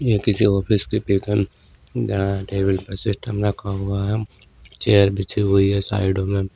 ये किसी ऑफिस की पिक है जहां टेबील पे सिस्टम रखा हुआ है चेयर बीछी हुई है साइड में--